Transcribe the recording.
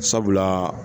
Sabula